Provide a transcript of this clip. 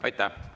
Aitäh!